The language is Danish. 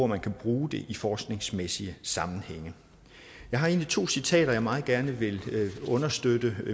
man kan bruge det i forskningsmæssige sammenhænge jeg har to citater som jeg meget gerne vil understøtte